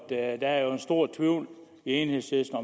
det at der er en stor tvivl i enhedslisten